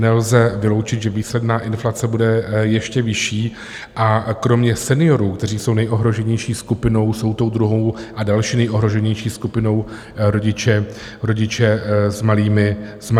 Nelze vyloučit, že výsledná inflace bude ještě vyšší, a kromě seniorů, kteří jsou nejohroženější skupinou, jsou tou druhou a další nejohroženější skupinou rodiče s malými dětmi.